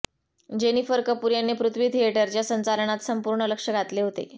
Jennifer Kapoor यांनी पृथ्वी थिएटरच्या संचालनात संपूर्ण लक्ष घातले होते